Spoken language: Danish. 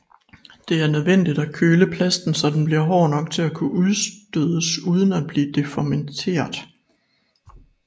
Det er nødvendigt at køle plasten så den bliver hård nok til at kunne udstødes uden at blive deformeret